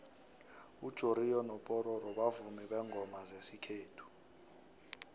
ujoriyo mopororo bavumi bengoma zesikllethu